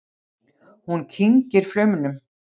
Hún kyngir flaumnum.